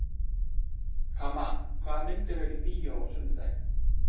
Kamma, hvaða myndir eru í bíó á sunnudaginn?